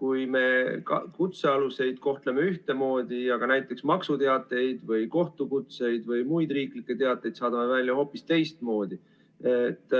kui me kutsealuseid kohtleme ühtemoodi, aga näiteks maksuteateid või kohtukutseid või muid riiklikke teateid saadame välja hoopis teistmoodi.